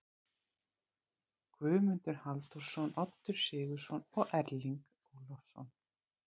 Guðmundur Halldórsson, Oddur Sigurðsson og Erling Ólafsson.